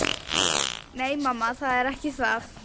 Nei, mamma, það er ekki það.